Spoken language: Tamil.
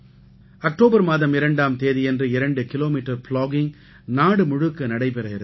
அக்டோபர் மாதம் 2ஆம் தேதியன்று 2 கிலோமீட்டர் ப்ளாகிங் நாடு முழுக்க நடைபெற இருக்கிறது